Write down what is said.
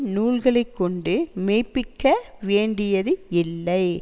நூல்களை கொண்டு மெய்ப்பிக்க வேண்டியது இல்லை